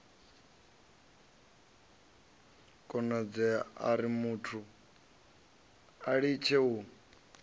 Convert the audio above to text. konadzea urimuthu a litshe u